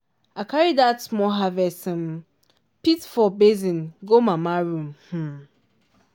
i carry dat small harvest um pit for basin go mama room. um